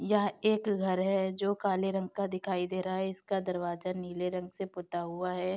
यह एक घर है जो काले रंग का दिखाई दे रहा है इसका दरवाजा नीले रंग से पुता हुआ है।